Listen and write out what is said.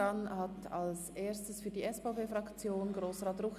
dann hat zuerst Grossrat Ruchti für die SVP-Fraktion das Wort.